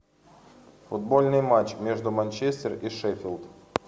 футбольный матч между манчестер и шеффилд